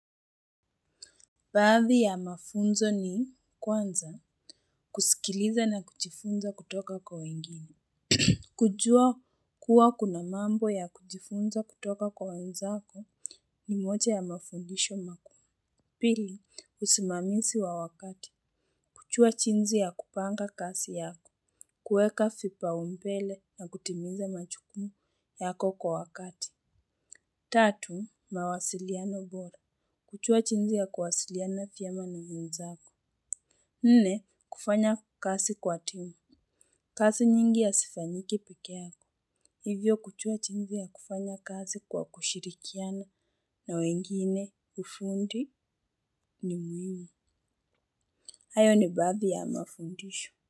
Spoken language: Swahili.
Baadhi ya mafunzo ni kwanza kusikiliza na kujifunza kutoka kwa wengine. Kujua kuwa kuna mambo ya kujifunza kutoka kwa wenzako ni moja ya mafundisho makuu. Pili, usimamizi wa wakati. Kujua jinsi ya kupanga kazi yako. Kueka vipaumbele na kutimiza majukumu yako kwa wakati. Tatu, mawasiliano bora. Kujua jinsi ya kuwasiliana vyema na wenzako. Nne kufanya kazi kwa timu. Kazi nyingi hazifanyiki peke yake. Hivyo kujua jinsi ya kufanya kazi kwa kushirikiana na wengine ufundi ni muhimu. Hayo ni baadhi ya mafundisho.